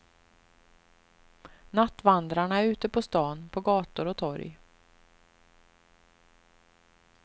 Nattvandrarna är ute på stan, på gator och torg.